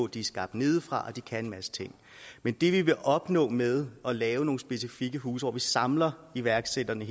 de skabt nedefra og de kan en masse ting men det vi vil opnå med at lave nogle specifikke huse hvor man samler iværksætterne